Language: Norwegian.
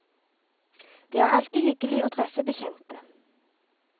Det er alltid hyggelig å treffe bekjente.